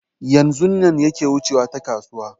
Yanzun nan yake wucewa ta kasuwa